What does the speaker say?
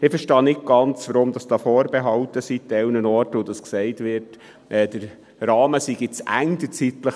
Ich verstehe nicht ganz, weshalb es teilweise Vorbehalte gibt und gesagt wird, der zeitliche Rahmen sei zu eng.